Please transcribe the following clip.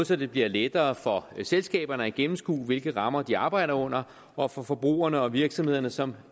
så det bliver lettere for selskaberne at gennemskue hvilke rammer de arbejder under og for forbrugerne og virksomhederne som